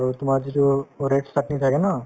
আৰু তোমাৰ যিটো red chutney থাকে ন